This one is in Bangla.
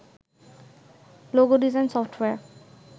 logo design software